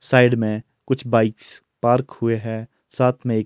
side में कुछ bikes park हुए हैं साथ में एक--